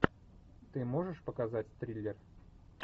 ты можешь показать триллер